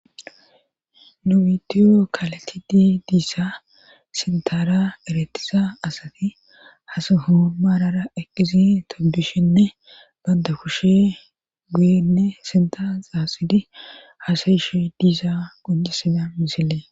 nu bitiyo kaletidi diissa sintara eretisa asati hasa hou maarara eqqizi tobishinne banda kushe guyenne sinta xaaxidi hasayishe diiza qoncisiza misile